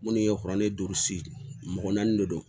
Minnu ye kuranɛ duuru si mɔgɔ naani de don